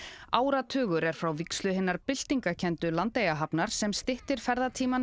áratugur er frá vígslu hinnar byltingarkenndu Landeyjahafnar sem styttir ferðatímann